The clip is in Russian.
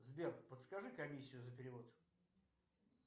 сбер подскажи комиссию за перевод